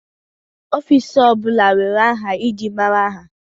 Ọfiks ọ bụla nwere aha eji mara ha.